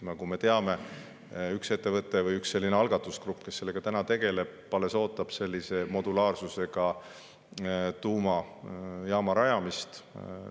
Nagu me teame, üks ettevõte või üks algatusgrupp, kes sellega täna tegeleb, alles ootab sellise modulaarsusega tuumajaama rajamist.